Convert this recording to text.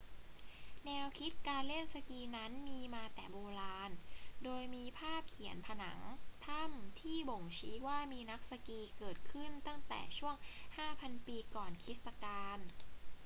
แนวคิดการเล่นสกีนั้นมีมาแต่โบราณ โดยมีภาพเขียนผนังถ้ำที่บ่งชี้ว่ามีนักสกีเกิดขึ้นตั้งแต่ช่วง 5,000 ปีก่อนคริสตกาล